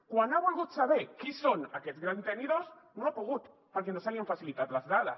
quan ha volgut saber qui són aquests grans tenidors no ha pogut perquè no se li han facilitat les dades